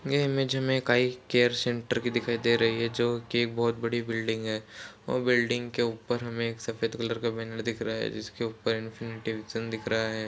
यह इमेज मे एक आई केयर सेन्टर की दिखाई दे रही है जो कि एक बोहोत बड़ी बिल्डिंग है और बिल्डिंग के ऊपर हमें एक सफ़ेद कलर का बैनर दिख रहा है जिसके ऊपर दिख रहा है|